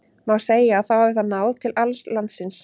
Má segja að þá hafi það náð til alls landsins.